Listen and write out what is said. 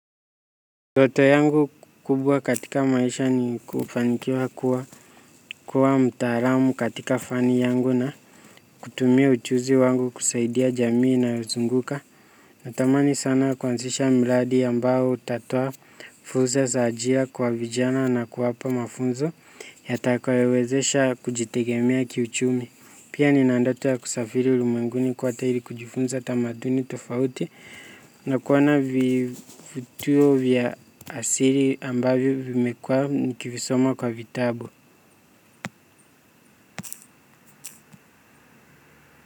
Ndoto yangu kubwa katika maisha ni kufanikiwa kuwa kuwa mtaalamu katika fani yangu na kutumia ujuzi wangu kusaidia jamii inayozunguka. Natamani sana kuanzisha mradi ambao utatoa fursa za ajira kwa vijana na kuwapa mafunzo yatakayowezesha kujitegemea kiuchumi. Pia nina ndoto ya kusafiri ulimwenguni kwote ili kujifunza tamaduni tofauti na kuona vituo vya asili ambavyo vimekuwa nikivisoma kwa vitabu.